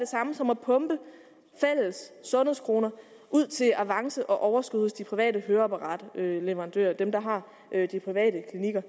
samme som at pumpe fælles sundhedskroner ud til avance og overskud hos de private høreapparatleverandører altså dem der har de private klinikker